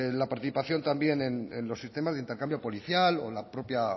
la participación también en los sistemas de intercambio policial o la propia